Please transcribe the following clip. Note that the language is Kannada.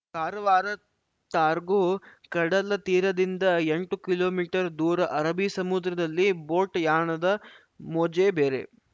ಕಾರುವಾರ ಟಾರ್ಗೋ ಕಡಲತೀರದಿಂದ ಎಂಟು ಕಿಲೋ ಮೀಟರ್ದೂರ ಅರಬ್ಬಿ ಸಮುದ್ರದಲ್ಲಿ ಬೋಟ್‌ ಯಾಣದ ಮೋಜೆ ಬೇರೆ